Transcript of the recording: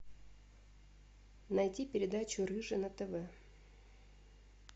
найди передачу рыжий на тв